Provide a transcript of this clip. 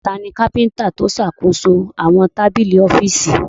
Tani kápíntà tó ṣàkóso àwọn tábìlì ọ́fíìsì?